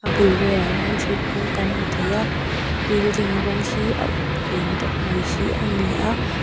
bul velah hian thingkung kan hmu thei a building rawng hi a uk eng deuh mai hi a ni a.